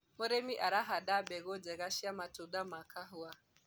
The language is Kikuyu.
mũrĩmi arahanda mbegũ njega cia matunda ma kahũa